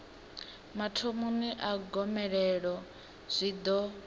mathomoni a gomelelo zwi ḓo